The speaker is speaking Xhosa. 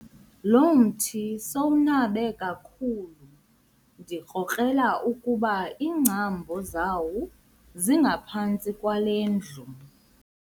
Lo mthi sowunabe kakhulu ndikrokrela ukuba iingcambu zawo zingaphantsi kwale ndlu.